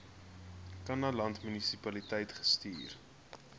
kannaland munisipaliteit gestuur